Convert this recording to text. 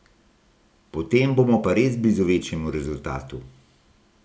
Potem bomo pa res blizu večjemu rezultatu.